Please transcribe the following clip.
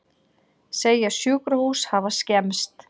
Segja sjúkrahús hafa skemmst